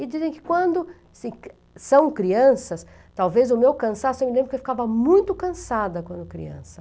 E dizem que quando se são crianças, talvez o meu cansaço, eu me lembro que eu ficava muito cansada quando criança.